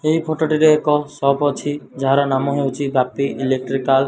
ଏହି ଫଟ ଟିରେ ଏକ ସପ୍ ଅଛି। ଯାହାର ନାମ ହେଉଚି ବାପି ଇଲେକ୍ଟ୍ରିକାଲ ।